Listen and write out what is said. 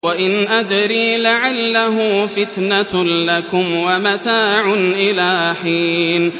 وَإِنْ أَدْرِي لَعَلَّهُ فِتْنَةٌ لَّكُمْ وَمَتَاعٌ إِلَىٰ حِينٍ